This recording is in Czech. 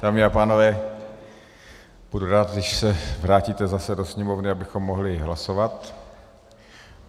Dámy a pánové, budu rád, když se vrátíte zase do sněmovny, abychom mohli hlasovat.